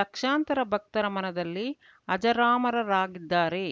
ಲಕ್ಷಾಂತರ ಭಕ್ತರ ಮನದಲ್ಲಿ ಅಜರಾಮರರಾಗಿದ್ದಾರೆ